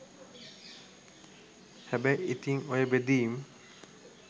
හැබැයි ඉතින් ඔය බෙදීම්